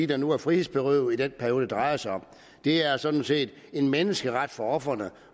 der nu er frihedsberøvet i den periode det drejer sig om det er sådan set en menneskeret for ofrene